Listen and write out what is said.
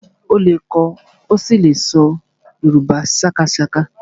Ó lè kọ ó sì lè ṣọ Yorùbá sákásáká